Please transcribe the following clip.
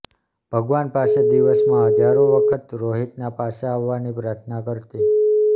ભગવાન પાસે દિવસમાં હજારો વખત રોહિતના પાછા આવવાની પ્રાર્થના કરતી